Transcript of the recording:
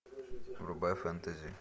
врубай фэнтези